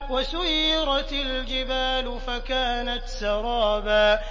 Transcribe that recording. وَسُيِّرَتِ الْجِبَالُ فَكَانَتْ سَرَابًا